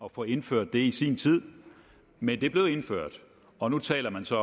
at få indført det i sin tid men det blev indført og nu taler man så